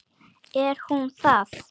Er hún það?